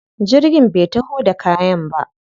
Jirgin bai taho da kayan ba.